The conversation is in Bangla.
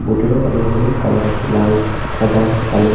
ভেতরে অনেক রকমের কালার আছে লাল সাদা কালো।